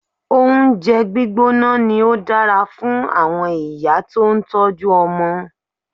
Oúnjẹ gbígbóná ni ó dára fún àwọn ìyá tó ń tọ́jú ọmọ.